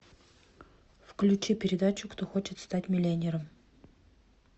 включи передачу кто хочет стать миллионером